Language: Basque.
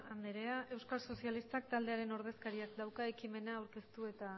andrea euskal sozialistak taldearen ordezkariak dauka ekimena aurkeztu eta